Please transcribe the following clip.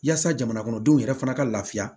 Yaasa jamana kɔnɔdenw yɛrɛ fana ka lafiya